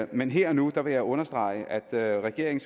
men her og nu vil jeg understrege at regeringen